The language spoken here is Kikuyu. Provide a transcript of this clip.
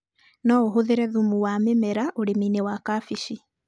noũhũthĩre thumu wa mĩmera ũrĩminĩ wa kabeci.